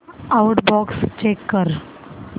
outbox check कर